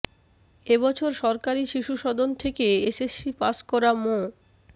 এ বছর সরকারি শিশু সদন থেকে এসএসসি পাস করা মো